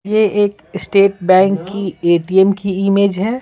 ये एक State Bank की एटीएम की इमेज है।